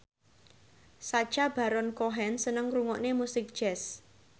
Sacha Baron Cohen seneng ngrungokne musik jazz